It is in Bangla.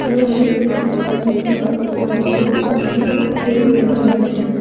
দেওয়ালে অনেকগুলা বড় বড় আর ছোট ফ্রেম দেখা যাচ্ছে।